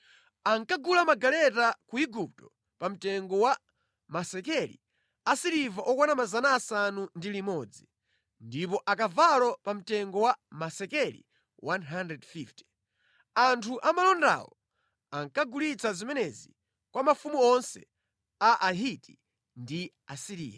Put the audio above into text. Ankagula magaleta ku Igupto pa mtengo wa masekeli asiliva okwana 600, ndipo akavalo pa mtengo wa masekeli 150. Anthu amalondawo ankagulitsa zimenezi kwa mafumu onse a Ahiti ndi Asiriya.